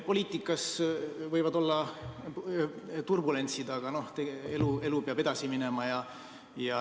Poliitikas võivad olla turbulentsid, aga elu peab edasi minema.